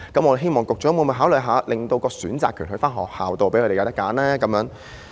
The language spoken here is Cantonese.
我希望局長考慮一下，令選擇權在學校，讓他們有所選擇。